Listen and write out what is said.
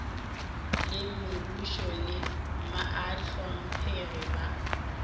le mebušo le bahlomphegi ba